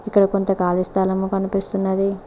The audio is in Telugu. ఇక్కడ కొంత కాలి స్థలము కనిపిస్తున్నది.